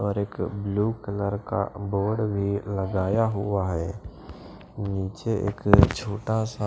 और एक blue colour का बोर्ड भी लगाया हुआ है नीचे एक छोटा सा--